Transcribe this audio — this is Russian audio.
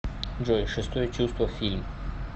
джой шестое чувство фильм